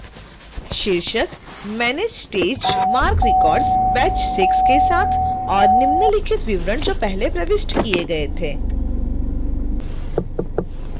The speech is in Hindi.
शीर्षक manage staged marc records › batch 6 के साथ